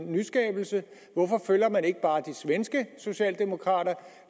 nyskabelse hvorfor følger man ikke bare de svenske socialdemokrater